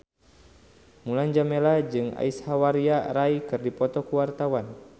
Mulan Jameela jeung Aishwarya Rai keur dipoto ku wartawan